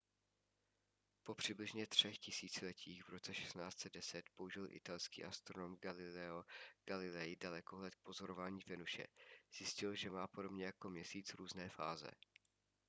po přibližně třech tisíciletích v roce 1610 použil italský astronom galileo galilei dalekohled k pozorování venuše zjistil že má podobně jako měsíc různé fáze